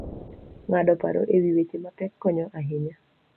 Ng'ado paro e wi weche mapek konyo ahinya.